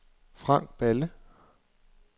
Frank Balle